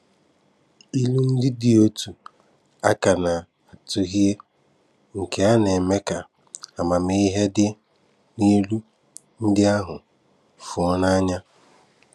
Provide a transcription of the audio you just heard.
Ìlù ndị dị otu a ka a na-atùhìe, nke na-eme ka amamihe dị n’ìlù ndị ahụ fùo n’anya.